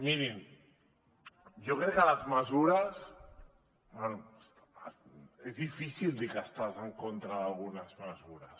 mirin jo crec que les mesures és difícil dir que estàs en contra d’algunes mesures